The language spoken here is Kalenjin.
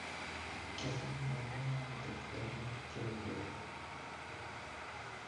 Kiasakanen ng'ung'unyek lakwet ni kiaureren